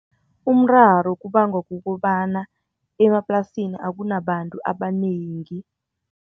Umraro kuba ngokokobana, emaplasini akunabantu abanengi.